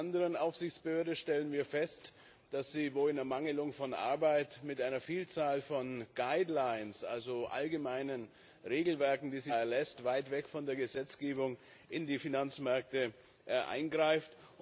Bei einer anderen Aufsichtsbehörde stellen wir fest, dass sie wohl in Ermanglung von Arbeit mit einer Vielzahl von guidelines also allgemeinen Regelwerken, die sie da erlässt, weit weg von der Gesetzgebung in die Finanzmärkte eingreift.